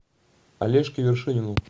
олежке вершинину